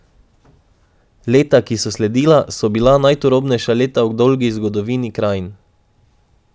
Leta, ki so sledila, so bila najturobnejša leta v dolgi zgodovini zahodnih krajin.